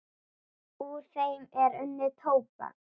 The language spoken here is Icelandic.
Úr þeim er unnið tóbak.